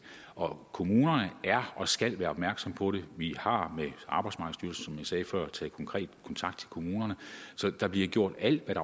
og kommunerne er og skal være opmærksomme på det vi har med arbejdsmarkedsstyrelsen sagde før taget konkret kontakt til kommunerne så der bliver gjort alt hvad